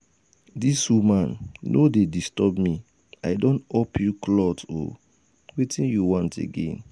dis woman no dey disturb me i don up you cloth um wetin you want again?